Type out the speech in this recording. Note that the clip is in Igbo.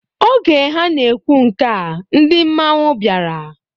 Oge ha na-ekwu nkea, ndị mmanwụ bịara.